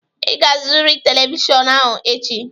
Ị ga-azụrịrị telivishọn ahụ echi!